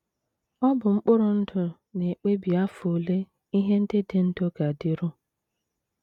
Ọ bụ mkpụrụ ndụ na - ekpebi afọ ole ihe ndị dị ndụ ga - adịru.